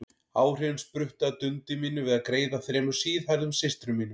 Áhrifin spruttu af dundi mínu við að greiða þremur síðhærðum systrum mínum.